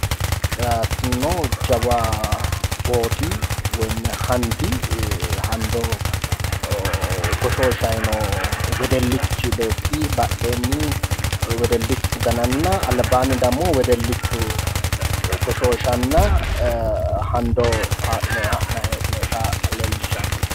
Tinino jawa booti woyi handi hando goshooshayi noo wedellichi beetti badheenni wedellichu gananna albaanni dammo wedellichu goshooshanna hondo haa'ne ha'nayi hee'noyita leellishshanno misileeti.